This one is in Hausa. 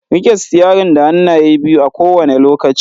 Rike sitiyarin da hannaye biyu a kowane lokaci.